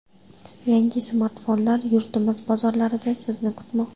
Yangi smartfonlar yurtimiz bozorlarida Sizni kutmoqda.